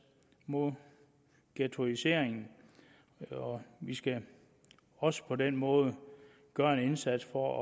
mod ghettoiseringen og vi skal også på den måde gøre en indsats for